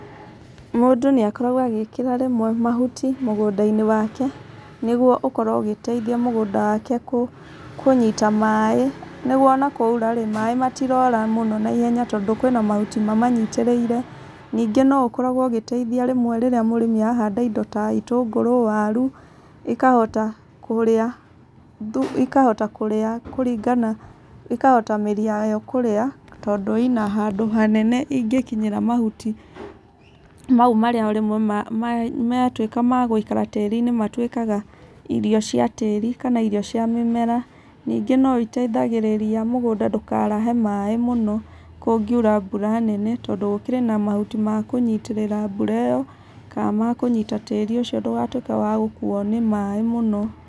Mũndũ nĩakoragwo agĩkĩra rĩmwe mahuti mũgũnda-inĩ wake nĩgũo ũkorwo ũgĩteithia mũgũnda wake kũnyita maĩ nĩguo ona kwaũra-ĩ maĩ matirora mũno naihenya tondũ kwĩna mahuti mamanyitĩrĩire ningĩ no ũkoragwo ũgĩteithia rĩmwe rĩrĩa mũrĩmi arahanda kĩndũ ta itũngũrũ, warũ ikahota kurĩa ĩkahota kurĩa kũringana ĩkahota mĩri yayo kurĩa tondũ ĩna handũ hanene ingĩkinyĩra mahuti mau marĩa rĩmwe matwĩka ma gũikara tĩri-inĩ matwĩkaga irio cia tĩri kana irio cia mĩmera ningĩ noiteithagĩrĩria mũgũnda ndũkarahe maĩ mũno kũngĩũra mbũra nene tondũ gũkĩrĩ na mahuti ma kũnyitĩrĩra mbũra ĩyo ka makũnyita tĩri ũcio ndũgatwĩke wa gũkuo nĩ maĩ mũno.